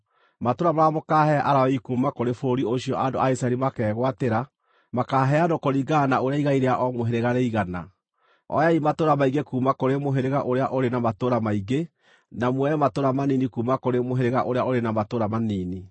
Matũũra marĩa mũkaahe Alawii kuuma kũrĩ bũrũri ũcio andũ a Isiraeli makegwatĩra, makaaheanwo kũringana na ũrĩa igai rĩa o mũhĩrĩga rĩigana: Oyai matũũra maingĩ kuuma kũrĩ mũhĩrĩga ũrĩa ũrĩ na matũũra maingĩ, na muoe matũũra manini kuuma kũrĩ mũhĩrĩga ũrĩa ũrĩ matũũra manini.”